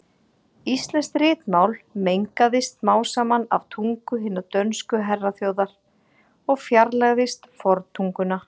Íslenskt ritmál mengaðist smám saman af tungu hinnar dönsku herraþjóðar og fjarlægðist forntunguna.